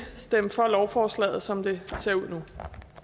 stemme for lovforslaget som det ser ud